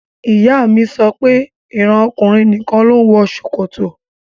Ìyá mi sọ pé ìran ọkùnrin nìkan ló ń wọ ṣòkòtò